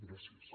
gràcies